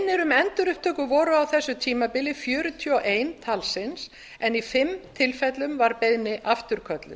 beiðnir um endurupptöku voru á þessu tímabili fjörutíu og eitt talsins en í fimm tilfellum var beiðni afturkölluð